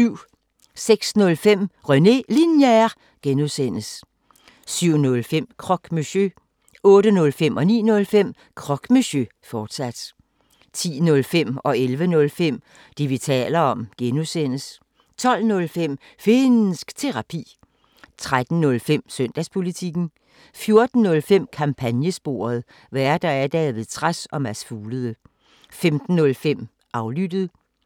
06:05: René Linjer (G) 07:05: Croque Monsieur 08:05: Croque Monsieur, fortsat 09:05: Croque Monsieur, fortsat 10:05: Det, vi taler om (G) 11:05: Det, vi taler om (G) 12:05: Finnsk Terapi 13:05: Søndagspolitikken 14:05: Kampagnesporet: Værter: David Trads og Mads Fuglede 15:05: Aflyttet